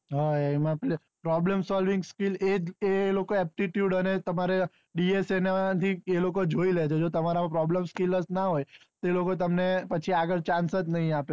હા એમાં થી એક problem solving skill ઇજજ લોકો aptitude અને તમારે dsa એ જોઈ લે છે એટલે તમારે માં problem solving skill જ ન હોય તો એ લોકો તમને આગળ chance નાઈ આપે